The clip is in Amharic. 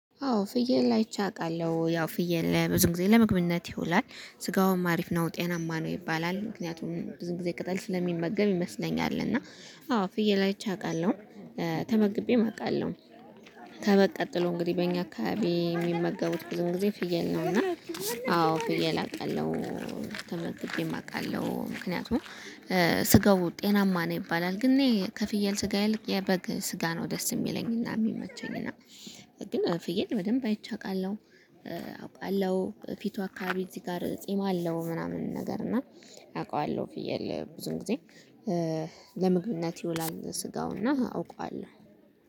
አዎ ፍየል አይቼ አውቃለሁ ያው ፍየል ለብዙ ጊዜ ለመግብነት ይውላል ስጋውም አሪፍ ነው ጤናማ ነው ይባላል። ምክንያቱም ብዙ ጊዜ ቅጠል ስለሚመገብ ይመስለኛል። እና አዎ ፍየል አይቼ አውቃለሁ ተመግቤም አውቃለሁ። ከበግ ቀጥሎ እንግዲህ በእኛ አካባቢ የሚመገቡት ብዙ ጊዜ ፍየል ነው። እና አዎ ፍየል አውቃለሁ ተመግቤም አውቃለሁ። ምክንያቱም ስጋው ጤናማ ነው ይባላል። ግን እኔ ከፍየል ስጋ ይልቅ የበግ ስጋ ነው ደስ የሚለኝና የሚመቸኝ። ግን ፍየል በደንብ አይቼ አውቃለሁ። አውቃለሁ ፊቱ አካባቢ እዚህ ጋር ጺም አለው ምናምን ነገር እና። አውቃለሁ ፍየል ብዙ ጊዜ ለምግብነት ይውላል ስጋው እና አውቀዋለሁ